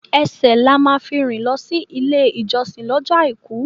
Ẹsẹ̀ la máa fi rìn lọ sí ilé ìjọsìn lọ́jọ́ Àìkú.